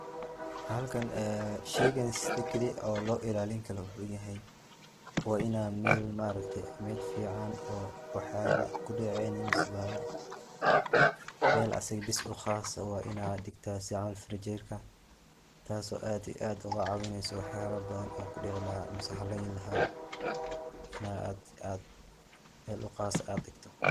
Halkan ee shaygan sida kali ee loo ilaalin karo waxuu yahay waa ina mel ma aragte mel fican oo waxyala kudacaynin mise bahala mel asaga bas u khas waa ina dhigta sida camal firinjerka taaso aad iyo aad oga caawinaysa waxyala badan oo kudici laha mise halayni laha mise aad aad mel u khas aad dhigto.